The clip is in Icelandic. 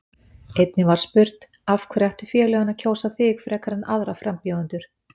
Einnig var spurt: Af hverju ættu félögin að kjósa þig frekar en aðra frambjóðendur?